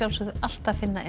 alltaf finna